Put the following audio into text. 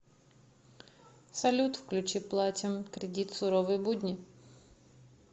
салют включи платим кредит суровые будни